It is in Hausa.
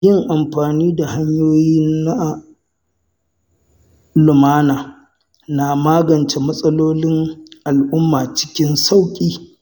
Yin amfani da hanyoyi na lumana na magance matsalolin al’umma cikin sauƙi.